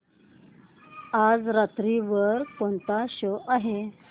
आज रात्री वर कोणता शो आहे